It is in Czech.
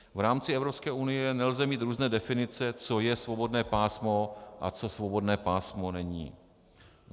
V rámci Evropské unie nelze mít různé definice, co je svobodné pásmo a co svobodné pásmo není.